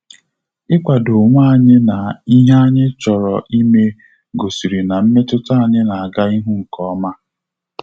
Ikwado onwe anyị na ihe anyị chọrọ ime gosiri na mmetụta anyị na aga ihu nkeoma